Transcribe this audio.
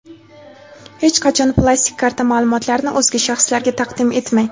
Hech qachon plastik karta ma’lumotlarini o‘zga shaxslarga taqdim etmang!.